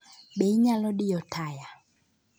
Be inyalo diyo taya?